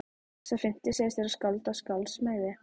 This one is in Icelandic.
Sá fimmti segist vera skáld af skálds meiði.